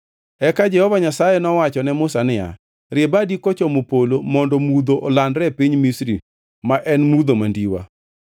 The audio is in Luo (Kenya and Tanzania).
Eka Jehova Nyasaye nowacho ne Musa niya, “Rie badi kochomo polo mondo mudho olandre e piny Misri; ma en mudho mandiwa.”